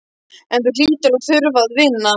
En þú hlýtur að þurfa að vinna